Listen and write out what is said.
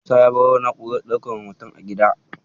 Musa ya baro na'urar ɗaukan hoton a gida.